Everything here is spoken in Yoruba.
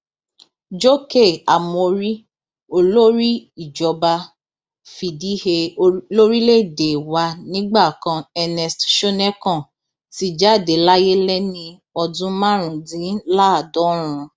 jókè ámórì olórí ìjọba fìdíhé lórílẹèdè wa nígbà kan ernest shonekan ti jáde láyé lẹni ọdún márùndínláàádọrùn